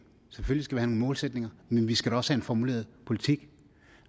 selvfølgelig målsætninger men vi skal da også have en formuleret politik